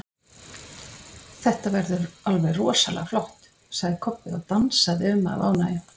Þetta verður alveg rosalega flott, sagði Kobbi og dansaði um af ánægju.